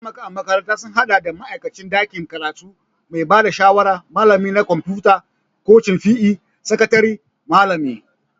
Mataimaka a makaranta sun haɗa da ma'aikacin ɗakin karatu, mai ba da shawara, Malami na kwamfuta, kocin PE., sakatare, malami